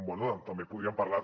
bé també podríem parlar